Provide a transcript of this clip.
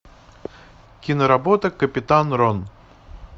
киноработа капитан рон